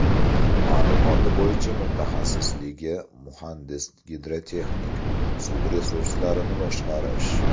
Ma’lumoti bo‘yicha mutaxassisligi muhandis-gidrotexnik, suv resurslarini boshqarish.